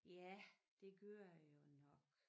Ja det gør det jo nok